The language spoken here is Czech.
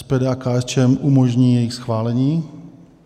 SPD a KSČM umožní jejich schválení.